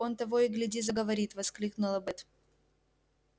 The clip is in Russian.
он того и гляди заговорит воскликнула бэт